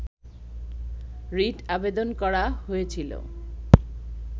writ আবেদন করা হয়েছিল